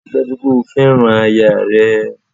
Ríi dájú pè o fẹ́ràn aya rẹ